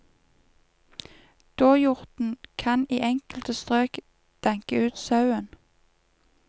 Dåhjorten kan i enkelte strøk danke ut sauen.